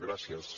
gràcies